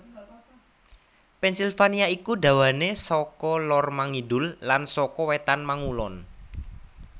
Pennsylvania iku dawané saka lor mangidul lan saka wétan mangulon